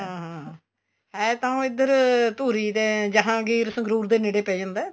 ਹਾਂ ਹੈ ਤਾਂ ਉਹ ਇੱਧਰ ਧੂਰੀ ਦੇ ਜਹਾਂਗੀਰ ਸੰਗਰੂਰ ਦੇ ਨੇੜੇ ਪੈ ਜਾਂਦਾ